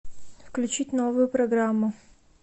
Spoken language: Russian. включить новую программу